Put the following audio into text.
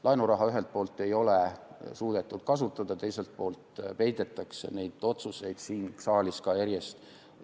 Laenuraha ei ole ühelt poolt suudetud kasutada, teiselt poolt peidetakse neid otsuseid ka siin saalis järjest.